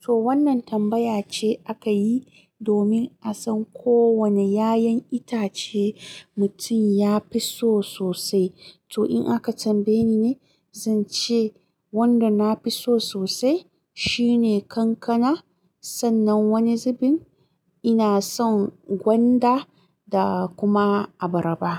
To wannan tambaya ce aka yi domin a san ko wane 'ya'yan itace mutum ya fi so sosai. To in aka tambaye ni ne, zan ce wanda na fi so sosai shine kankana. Sannan wani zubin ina son gwanda da kuma abaraba.